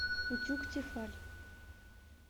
утюг тефаль